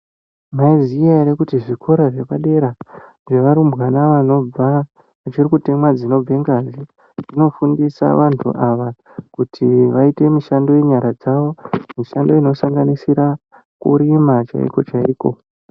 Maizviziva here kuti zvikora zvepadera zvevarumbwana vanobva vachiri kutemwa dzinobva ngazi dzinofundisa vantu ava kuti vaite mishando yenyara dzawo mishando inosanganisira kurima chaiko chaiko.